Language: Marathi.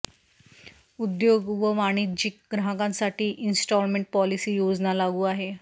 उद्योग व वाणिज्यिक ग्राहकांसाठी इन्स्टॉलमेंट पॉलिसी योजना लागू आहे